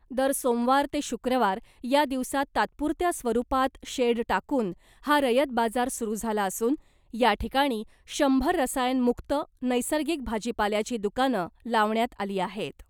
दर सोमवार ते शुक्रवार या दिवसात तात्पुरत्या स्वरूपात शेड टाकून , हा रयत बाजार सुरू झाला असून , याठिकाणी शंभर रसायन मुक्त नैसर्गिक भाजीपाल्याची दुकानं लावण्यात आली आहेत .